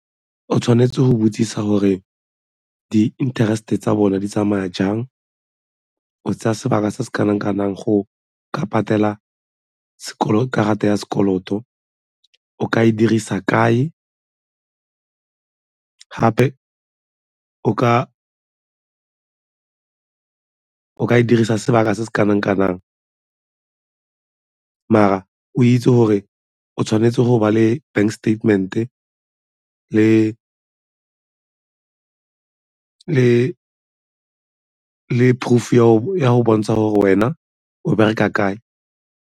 O tshwanetse go botsisa gore di-interest-e tsa bona di tsamaya jang, o tsaya sebaka se se kana-kanang go ka patela karata ya sekoloto, o ka e dirisa kae gape o ka ka dirisa sebaka se se kanang-kanang mara o itse gore o tshwanetse go ba le bank statement-e le proof-u ya go bontsha gore wena o bereka kae?